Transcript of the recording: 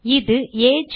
இது ஏஜ்